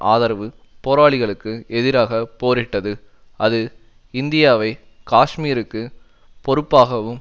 ஆதரவு போராளிகளுக்கு எதிராக போரிட்டது அது இந்தியாவை காஷ்மீருக்கு பொறுப்பாகவும்